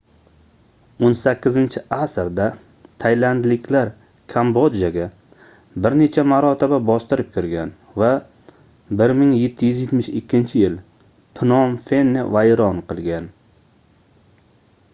18-asrda taylandliklar kambodjaga bir necha marotaba bostirib kirgan va 1772-yil pnom fenni vayron qilgan